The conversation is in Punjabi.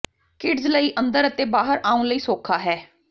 ਕਿਡਜ਼ ਲਈ ਅੰਦਰ ਅਤੇ ਬਾਹਰ ਆਉਣ ਲਈ ਸੌਖਾ ਹੈ